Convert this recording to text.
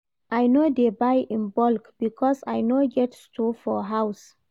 I no dey buy in bulk because I no get store for house.